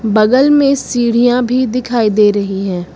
बगल में सीढ़ियां भी दिखाई दे रही है।